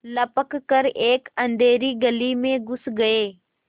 लपक कर एक अँधेरी गली में घुस गये